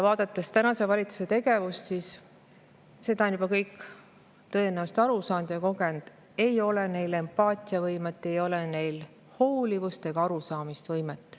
Vaadates tänase valitsuse tegevust on juba kõik tõenäoliselt aru saanud: ei ole neil empaatiavõimet, ei ole neil hoolivust ega arusaamisvõimet.